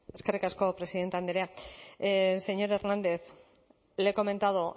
eskerrik asko presidente andrea señor hernández le he comentado